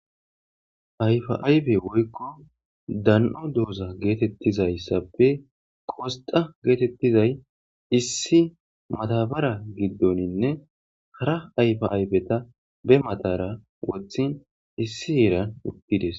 Ayfaaybe woykko dan'o dooza geetettizayssappe qosxa geetettizay issi matabara giddoninne hara ayfa ayfeta be matara wothin issi iiran uttides.